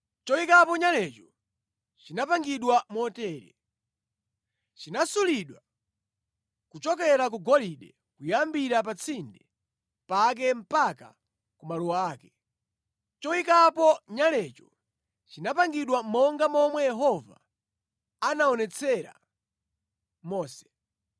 Choyikapo nyalecho chinapangidwa motere: chinasulidwa kuchokera ku golide, kuyambira pa tsinde pake mpaka ku maluwa ake. Choyikapo nyalecho chinapangidwa monga momwe Yehova anaonetsera Mose.